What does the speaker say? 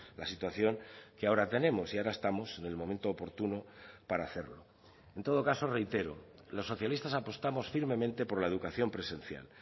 la situación que ahora tenemos y ahora estamos en el momento oportuno para hacerlo en todo caso reitero los socialistas apostamos firmemente por la educación presencial